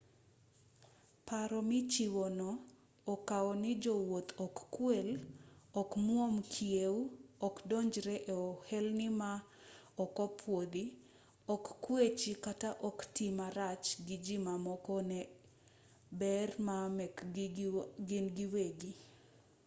paro michiwo no okao ni jowuoth ok kwel ok mwuom kiew okdonjre e ohelni ma ok opuodhi ok kwechi kata ok tii marach gi ji mamoko ne ber ma mekgi gin giwegi